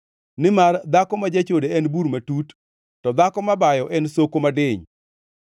nimar dhako ma jachode en bur matut, to dhako mabayo en soko madiny.